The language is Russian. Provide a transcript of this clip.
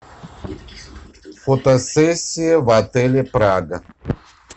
фотосессия в отеле прага